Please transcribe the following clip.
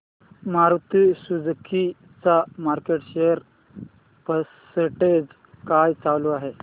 Maruti Suzuki चा market share percentage काय चालू आहे